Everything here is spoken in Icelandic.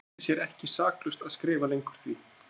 Hann taldi sér ekki saklaust að skrifa lengur því